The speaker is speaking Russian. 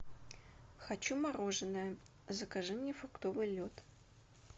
хочу мороженое закажи мне фруктовый лед